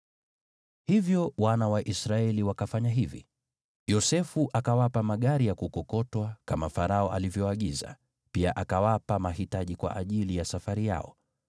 Hivyo wana wa Israeli wakafanya hivyo. Yosefu akawapa magari ya kukokotwa, kama Farao alivyoagiza, pia akawapa mahitaji kwa ajili ya safari yao.